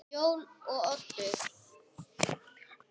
Jón og Oddur.